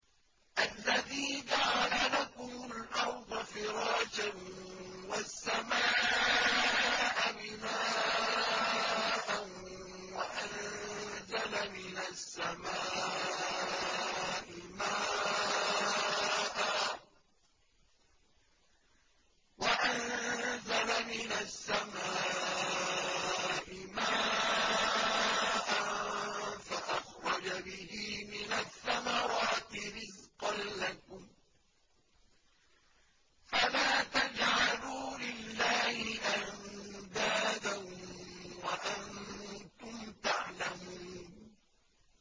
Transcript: الَّذِي جَعَلَ لَكُمُ الْأَرْضَ فِرَاشًا وَالسَّمَاءَ بِنَاءً وَأَنزَلَ مِنَ السَّمَاءِ مَاءً فَأَخْرَجَ بِهِ مِنَ الثَّمَرَاتِ رِزْقًا لَّكُمْ ۖ فَلَا تَجْعَلُوا لِلَّهِ أَندَادًا وَأَنتُمْ تَعْلَمُونَ